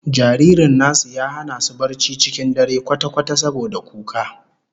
Jaririn nasu ya hana su barci cikin dare kwata-kwata saboda kuka